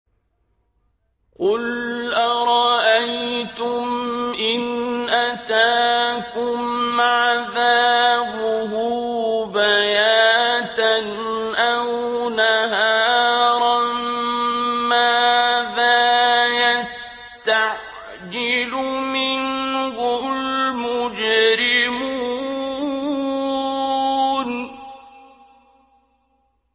قُلْ أَرَأَيْتُمْ إِنْ أَتَاكُمْ عَذَابُهُ بَيَاتًا أَوْ نَهَارًا مَّاذَا يَسْتَعْجِلُ مِنْهُ الْمُجْرِمُونَ